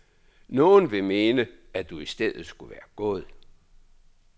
Nogen vil mene, at du i stedet skulle være gået.